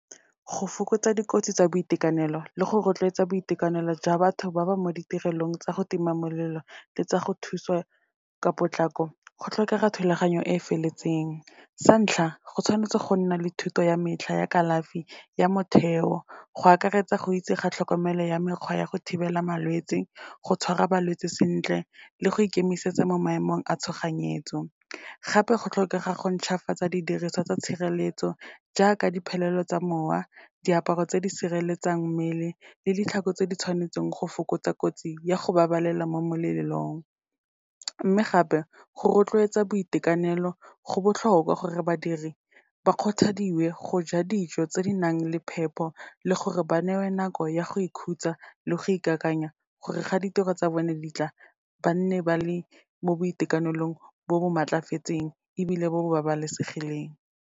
Go fokotsa dikotsi tsa boitekanelo, le go rotloetsa boitekanelo jwa batho ba ba mo ditirelong tsa go tima molelo, le tsa go thuso ka potlako, go tlhokega thulaganyo e e feletseng. Sa ntlha, go tshwanetse go nna le thuto ya metlha ya kalafi ya motheo, go akaretsa, go itse ga tlhokomelo ya mekgwa ya go thibela malwetse, go tshwara balwetse sentle le go ikemisetsa mo maemong a tshoganyetso. Gape go tlhokega go ntšhwafatsa didiriswa tsa tshireletso, jaaka diphelelo tsa mowa, diaparo tse di sireletsang mmele le ditlhako tse di tshwanetsweng go fokotsa kotsi ya go babalelwa mo molelong. Mme gape, go rotloetsa boitekanelo, go botlhokwa gore badiri ba kgothadiwe go ja dijo tse di nang le phepo, le gore ba newe nako ya go ikhutsa le go ikakanya gore ga ditiro tsa bone di tla, ba nne ba le mo boitekanelong bo maatlafetseng ebile bo bo babalesegileng.